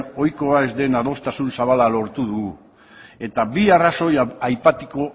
ohikoa ez den adostasun zabala lortu dugu eta bi arrazoi aipatuko